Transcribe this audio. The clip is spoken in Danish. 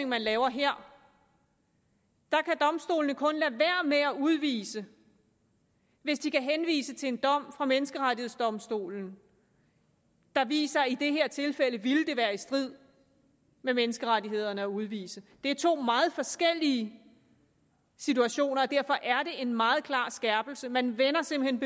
man laver her kan domstolene kun lade være med at udvise hvis de kan henvise til en dom fra menneskerettighedsdomstolen der viser i det her tilfælde ville være i strid med menneskerettighederne at udvise det er to meget forskellige situationer og derfor er det en meget klar skærpelse man vender simpelt